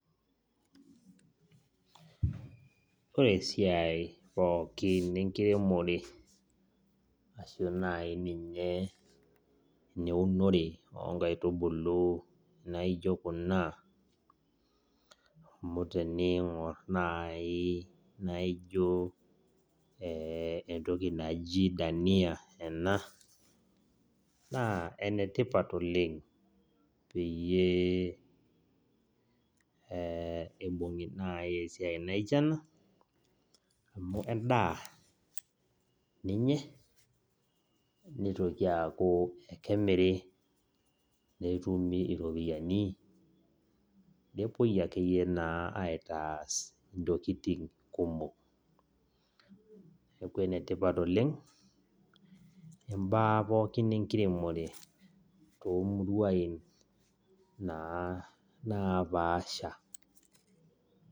Ore esiai pookin enkiremore, ashu nai ninye eneunore onkaitubulu naijo kuna, amu teniing'or nai naijo entoki naji dania ena, naa enetipat oleng peyie ibung'i nai esiai naijo ena, amu endaa kendaa ninye, nitoki aku kemiri netumi iropiyiani. Nepuoi akeyie naa aitaas intokiting kumok. Neeku enetipat oleng, imbaa pookin enkiremore tomuruain naa napaasha.